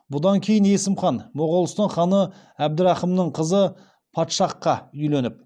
бұдан кейін есім хан моғолстан ханы әбдірахымның қызы падшахқа үйленіп